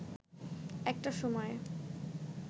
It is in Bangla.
একটা সময়ে